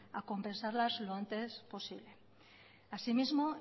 a compensarlas lo antes posible asimismo